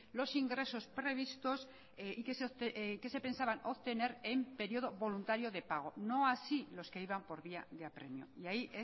los ingresos previstos y que se pensaban obtener en período voluntario de pago no así los que iban por vía de apremio y ahí